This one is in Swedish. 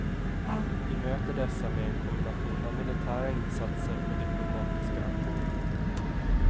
Vi möter dessa med en kombination av militära insatser och diplomatiska aktioner.